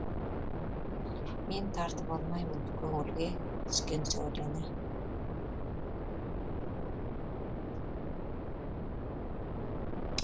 мен тартып алмаймын көңілге түскен сәулені